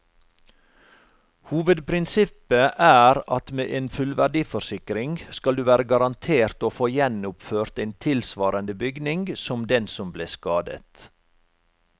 Hovedprinsippet er at med en fullverdiforsikring skal du være garantert å få gjenoppført en tilsvarende bygning som den som ble skadet.